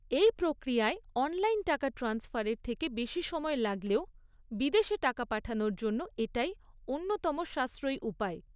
এই প্রক্রিয়ায় অনলাইন টাকা ট্রান্সফারের থেকে বেশি সময় লাগলেও বিদেশে টাকা পাঠানোর জন্য এটাই অন্যতম সাশ্রয়ী উপায়।